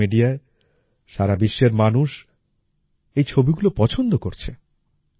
social মিডিয়ায় সারা বিশ্বের মানুষ এই ছবিগুলো পছন্দ করছে